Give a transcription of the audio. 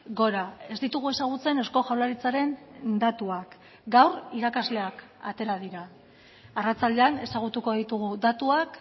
gora ez ditugu ezagutzen eusko jaurlaritzaren datuak gaur irakasleak atera dira arratsaldean ezagutuko ditugu datuak